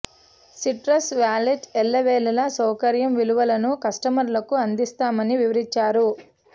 citrus wallet ఎల్లవేళలా సౌక ర్యం విలువలను కస్టమర్లకు అందిస్తామని వివరిం చారు